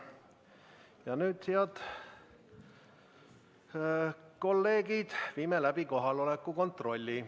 Ja nüüd, head kolleegid, viime läbi kohaloleku kontrolli.